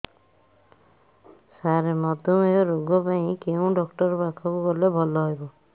ସାର ମଧୁମେହ ରୋଗ ପାଇଁ କେଉଁ ଡକ୍ଟର ପାଖକୁ ଗଲେ ଭଲ ହେବ